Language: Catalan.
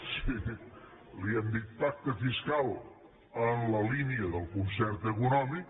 sí li hem dit pacte fiscal en la línia del concert econòmic